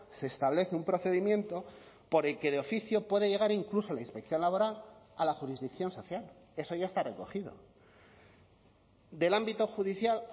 se establece un procedimiento por el que de oficio puede llegar incluso la inspección laboral a la jurisdicción social eso ya está recogido del ámbito judicial